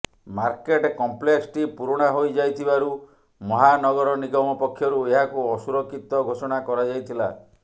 market କମ୍ପ୍ଲେକ୍ସଟି ପୁରୁଣା ହୋଇଯାଇଥିବାରୁ ମହାନଗର ନିଗମ ପକ୍ଷରୁ ଏହାକୁ ଅସୁରକ୍ଷିତ ଘୋଷଣା କରାଯାଇଥିଲା